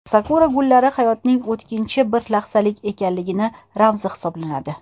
Sakura gullari hayotning o‘tkinchi, bir lahzalik ekanligi ramzi hisoblanadi.